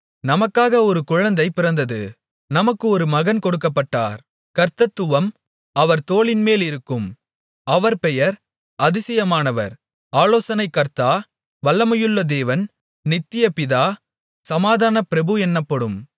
நமக்காக ஒரு குழந்தை பிறந்தது நமக்கு ஒரு மகன் கொடுக்கப்பட்டார் கர்த்தத்துவம் அவர் தோளின்மேலிருக்கும் அவர் பெயர் அதிசயமானவர் ஆலோசனைக்கர்த்தா வல்லமையுள்ள தேவன் நித்திய பிதா சமாதானப்பிரபு என்னப்படும்